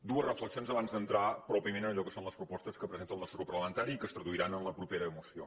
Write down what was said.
dues reflexions abans d’entrar pròpiament en allò que són les propostes que presenta el nostre grup parlamentari i que es traduiran en la propera moció